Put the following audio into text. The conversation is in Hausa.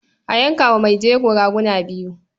A yanka wa mai jego raguna biyu.